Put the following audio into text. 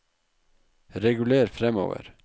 reguler framover